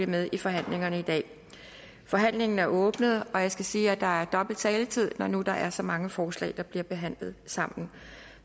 med i forhandlingen i dag forhandlingen er åbnet og jeg skal sige at der er dobbelt taletid når nu der er så mange forslag der bliver behandlet sammen